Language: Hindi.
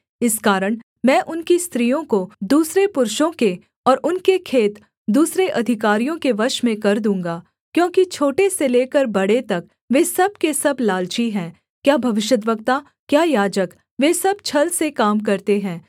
इस कारण मैं उनकी स्त्रियों को दूसरे पुरुषों के और उनके खेत दूसरे अधिकारियों के वश में कर दूँगा क्योंकि छोटे से लेकर बड़े तक वे सब के सब लालची हैं क्या भविष्यद्वक्ता क्या याजक वे सब छल से काम करते हैं